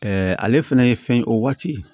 ale fɛnɛ ye fɛn ye o waati